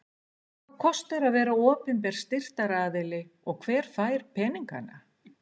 Hvað kostar að vera opinber styrktaraðili og hver fær peningana?